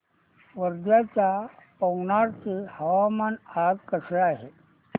वर्ध्याच्या पवनार चे हवामान आज कसे आहे